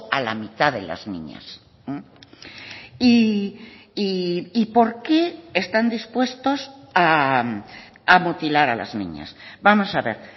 a la mitad de las niñas y por qué están dispuestos a mutilar a las niñas vamos a ver